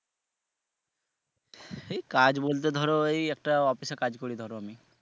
এই কাজ বলতে ধরো এই একটা office এ কাজ করি ধরো আমি।